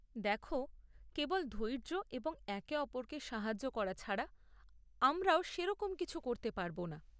দেখ, কেবল ধৈর্য এবং একে অপরকে সাহায্য করা ছাড়া, আমরাও সেরকম কিছু করতে পারব না।